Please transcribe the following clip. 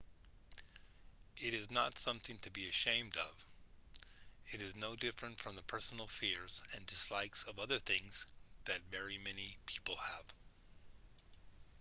it is not something to be ashamed of it is no different from the personal fears and dislikes of other things that very many people have